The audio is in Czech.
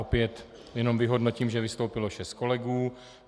Opět jenom vyhodnotím, že vystoupilo šest kolegů.